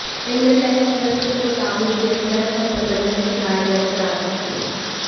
Indian Express के मुताबिक BSF Hasan Ali पर शिकायत दर्ज करा सकती है